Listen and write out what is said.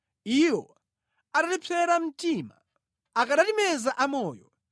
iwo atatipsera mtima, akanatimeza amoyo;